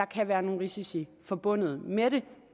kan være nogle risici forbundet med det